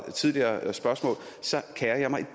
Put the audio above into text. tidligere spørgsmål kerer jeg mig